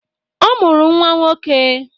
Ọ mụrụ nnwa nwoke.